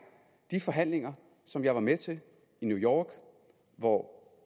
de forhandlinger som jeg var med til i new york hvor